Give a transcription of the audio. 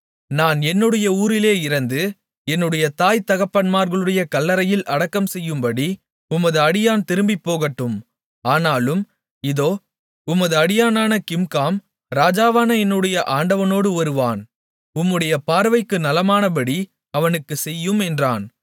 நான் என்னுடைய ஊரிலே இறந்து என்னுடைய தாய் தகப்பன்மார்களுடைய கல்லறையில் அடக்கம்செய்யும்படி உமது அடியான் திரும்பிப்போகட்டும் ஆனாலும் இதோ உமது அடியானான கிம்காம் ராஜாவான என்னுடைய ஆண்டவனோடு வருவான் உம்முடைய பார்வைக்கு நலமானபடி அவனுக்குச் செய்யும் என்றான்